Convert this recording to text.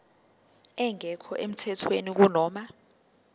engekho emthethweni kunoma